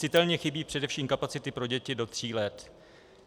Citelně chybí především kapacity pro děti do tří let.